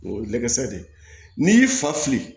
O ye nɛgɛ sira de ye n'i y'i fa fili